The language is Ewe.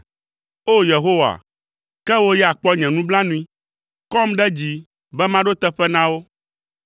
O! Yehowa, ke wò ya kpɔ nye nublanui, kɔm ɖe dzi be maɖo teƒe na wo.